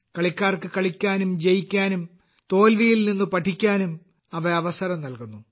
കളിക്കാർക്ക് കളിക്കാനും ജയിക്കാനും തോൽവിയിൽ നിന്ന് പഠിക്കാനും അവ അവസരം നൽകുന്നു